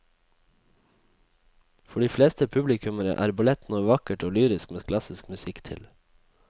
For de fleste publikummere er ballett noe vakkert og lyrisk med klassisk musikk til.